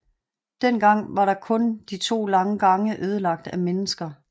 Dengang var kun de to lange gange ødelagt af mennesker